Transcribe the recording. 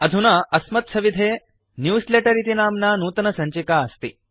अधुना अस्मत्सविधे न्यूजलेटर इति नाम्ना नूतनसञ्चिका अस्ति